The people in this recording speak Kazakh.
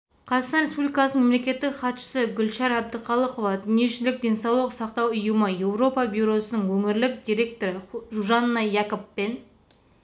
қазақстан республикасының мемлекеттік хатшысы гүлшара әбдіқалықова дүниежүзілік денсаулық сақтау ұйымы еуропа бюросының өңірлік директоры жужанна якабпен